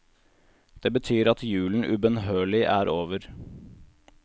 Det betyr at julen ubønnhørlig er over.